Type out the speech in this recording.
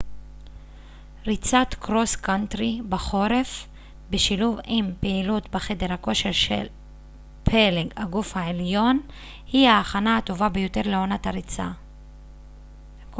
ריצת קרוס קאנטרי בחורף בשילוב עם פעילות בחדר הכושר על פלג הגוף העליון היא ההכנה הטובה ביותר לעונת הריצה